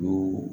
O